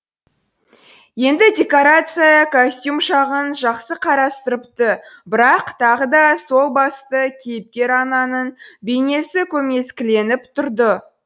енді декорация костюм жағын жақсы қарастырыпты бірақ тағы да сол басты кейіпкер аннаның бейнесі көмескіленіп тұрды